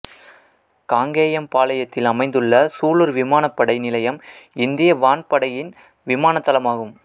காங்கேயம்பாளையத்தில் அமைந்துள்ள சூலூர் விமானப்படை நிலையம் இந்திய வான்படையின் விமானத் தளமாகும்